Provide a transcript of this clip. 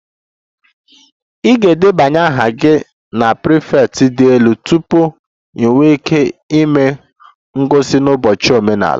Ị ga-edebanye aha gị na prefect dị elu tupu ị nwee ike ịme ngosi n'ụbọchị omenala